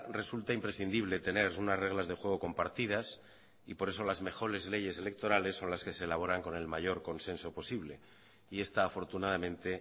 resulta imprescindible tener unas reglas de juego compartidas y por eso las mejores leyes electorales son las que se elaboran con el mayor consenso posible y esta afortunadamente